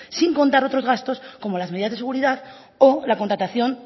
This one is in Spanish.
sin contar otros gastos como las medidas de seguridad o la contratación